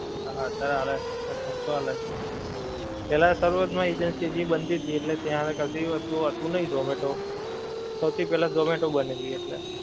હા અતિયારે આલે છે અતિયારે ખર્ચો આલે છે, પેહલા તરવત માં agency બનતી થી એટલે ત્યાં ક્દી હતું નહીં zomato, સહુ થી પેહલા zomato બનેલી એટલે